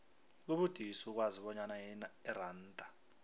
kubudisi ukwazi bonyana iranda